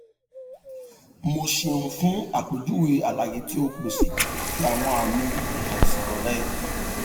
mo ṣeun fun apejuwe alaye ti o pese ti awọn aami aisan rẹ